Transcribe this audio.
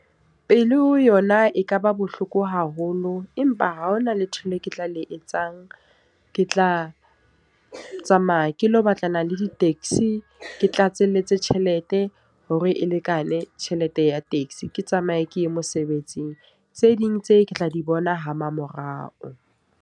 Pele ho yona e ka ba bohloko haholo. Empa ha hona letho le ke tla le etsang. Ke tla tsamaya ke lo batlana le di-taxi. Ke tlatselletse tjhelete, hore e lekane tjhelete ya taxi. Ke tsamaye ke ye mosebetsing, tse ding tse ke tla di bona ha mamorao.